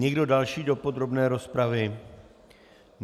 Někdo další do podrobné rozpravy?